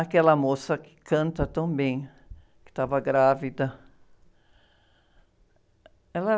Aquela moça que canta tão bem, que estava grávida. Ela...